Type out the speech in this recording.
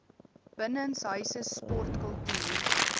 binnenshuise sport kultuur